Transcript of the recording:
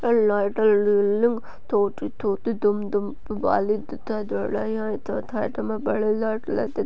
लला तला लू लू छोटी छोटी धूम धूम बाली तिथा बड़ी लत लगी--